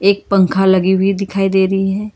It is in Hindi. एक पंखा लगी हुई दिखाई दे रही है।